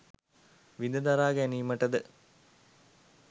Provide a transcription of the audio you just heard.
විඳ දරා ගැනීමට ද